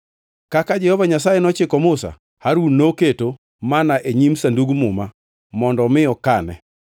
Kaka Jehova Nyasaye nochiko Musa, Harun noketo manna e nyim Sandug Muma mondo mi okane.